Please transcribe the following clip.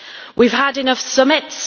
We have had enough summits